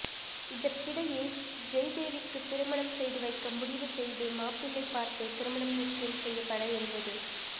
இதற்கிடையே ஜெயதேவிக்கு திருமணம் செய்து வைக்க முடிவு செய்து மாப்பிள்ளை பார்த்து திருமணம் நிச்சயம் செய்யப்பட இருந்தது